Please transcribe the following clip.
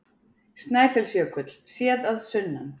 Snæfellsjökull, séð að sunnan.